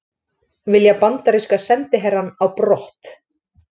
Vilja bandaríska sendiherrann á brott